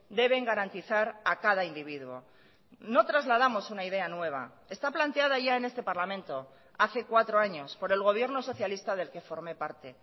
deben garantizar a cada individuo no trasladamos una idea nueva está planteada ya en este parlamento hace cuatro años por el gobierno socialista del que formé parte